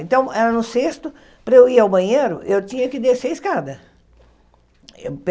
Então, era no sexto, para eu ir ao banheiro, eu tinha que descer escada.